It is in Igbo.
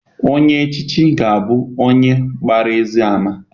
Onye echichi ga-abụ onye agbara ezi ama.